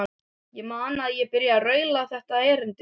Ég man að ég byrjaði á að raula þetta erindi